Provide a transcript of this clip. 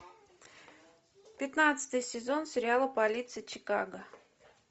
пятнадцатый сезон сериала полиция чикаго